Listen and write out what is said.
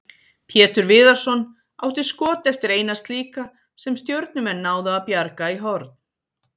Pétur Viðarsson átti skot eftir eina slíka sem Stjörnumenn náðu að bjarga í horn.